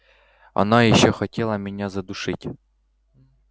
она ещё хотела меня задушить